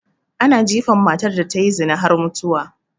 Ana jifan matar da tayi zina har mutuwa